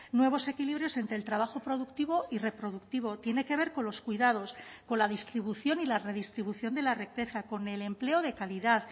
nuevos equilibrios entre el trabajo productivo y reproductivo tiene que ver con los cuidados con la distribución y la redistribución de la riqueza con el empleo de calidad